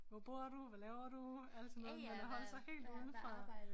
Hvor bor du hvad laver du alt sådan noget men at holde sig helt udenfor